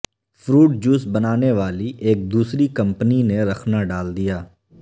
fruit juice بنانے والی ایک دوسری کمپنی نے رخنا ڈال دیا